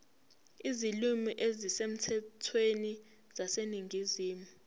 izilimi ezisemthethweni zaseningizimu